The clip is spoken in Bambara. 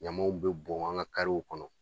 Ɲamaw bɛ bɔn an ka kɔnɔ